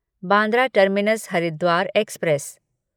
Bandra terminus Haridwar express